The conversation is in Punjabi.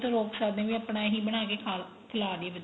ਰੋਕ ਸਕਦੇ ਨੀਂ ਆਪਣਾ ਇਹੀ ਬਣਾ ਕੇ ਖਾ ਲੋ ਖਿਲਾ ਦੀਏ ਬੱਚੇ ਨੂੰ